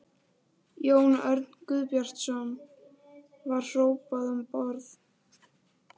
Jón Örn Guðbjartsson: Var hrópað um borð?